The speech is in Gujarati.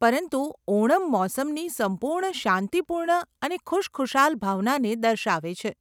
પરંતુ ઓણમ મોસમની સંપૂર્ણ શાંતિપૂર્ણ અને ખુશખુશાલ ભાવનાને દર્શાવે છે.